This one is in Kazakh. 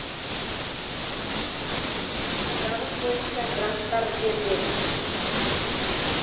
екі түрлі бағыт бойынша гранттар беріледі